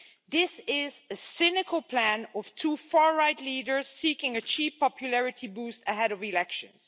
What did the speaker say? This is a cynical plan of two far right leaders seeking a cheap popularity boost ahead of elections.